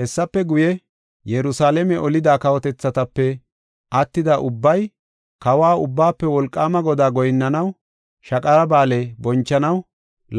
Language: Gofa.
Hessafe guye, Yerusalaame olida kawotethatape attida ubbay Kawa, Ubbaafe Wolqaama Godaa goyinnanawunne Shaqara Ba7aale bonchanaw